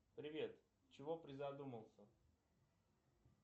привет чего призадумался